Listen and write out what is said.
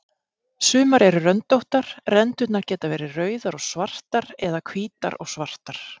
Sumar eru röndóttar, rendurnar geta verið rauðar og svartar eða hvítar og svartar.